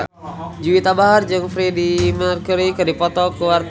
Juwita Bahar jeung Freedie Mercury keur dipoto ku wartawan